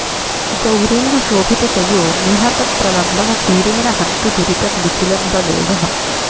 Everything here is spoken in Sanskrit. गौरेण शोभितशयो निहतप्रलम्बः सीरेण हन्तु दुरितं निखिलं बलो वः